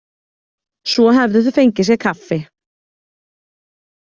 Svo hefðu þau fengið sér kaffi.